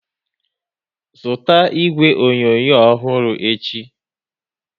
Zụta igwe onyonyo ọhụrụ echi!